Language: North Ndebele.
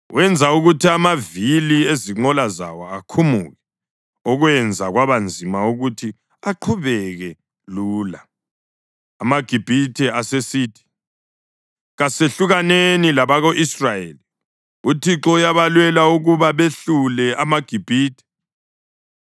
Wenza ukuthi amavili ezinqola zawo akhumuke okwenza kwaba nzima ukuthi aqhubeke lula. AmaGibhithe asesithi, “Kasehlukaneni labako-Israyeli! UThixo uyabalwela ukuba behlule amaGibhithe.”